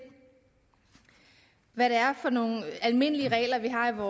hvad det er for nogle almindelige regler vi har